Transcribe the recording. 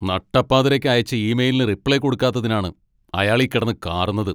നട്ടപ്പാതിരക്ക് അയച്ച ഇമെയിലിന് റിപ്ലൈ കൊടുക്കാത്തതിനാണ് അയാളീ കിടന്ന് കാറുന്നത്.